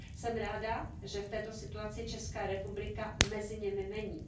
Jsem ráda, že v této situaci Česká republika mezi nimi není.